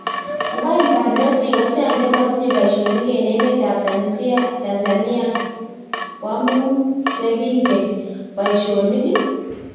Kwang parnotik kochangaa chematinye paishonik eng emet ap tanzania kwamung chengingen paishonik?